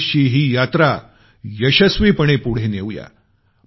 2019 ची ही यात्रा यशस्वीपणे पुढे नेऊ या